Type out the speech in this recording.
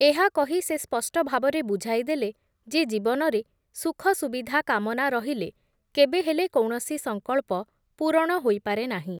ଏହା କହି ସେ ସ୍ପଷ୍ଟଭାବରେ ବୁଝାଇଦେଲେ, ଯେ ଜୀବନରେ ସୁଖସୁବିଧା କାମନା ରହିଲେ କେବେହେଲେ କୌଣସି ସଂକଳ୍ପ ପୂରଣ ହୋଇପାରେ ନାହିଁ ।